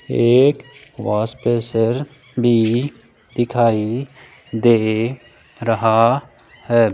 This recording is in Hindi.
एक वॉश प्रेशर भी दिखाई दे रहा है।